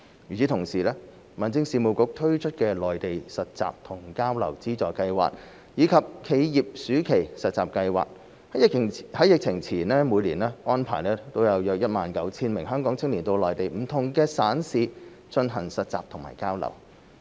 與此同時，民政事務局推出的內地實習和交流資助計劃，以及企業暑期實習計劃，在疫情前每年安排約 19,000 名香港青年到內地不同省市進行實習和交流。